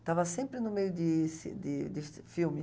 Estava sempre no meio desse de desse filme.